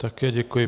Také děkuji.